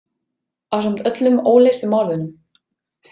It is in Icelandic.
Ásamt öllum óleystu málunum.